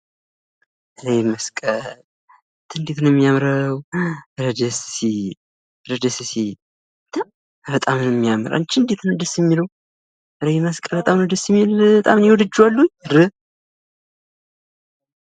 ይህ መስቀል አንተ እንዴት ነው የሚያምረው! ኧረ ደስ ሲል! ኧረ ደስ ሲል! አንተ ኧረ በጣም ነው የሚያምር! አንች እንደት ነው ደስ የሚለው! ኧረ ይሄ መስቀል በጣም ነው ደስ የሚል በጣም እኔ ወድጀዋለሁኝ ኧረ!